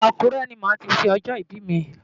Akure ni màá ti ṣe ọjọ́ ìbí mi.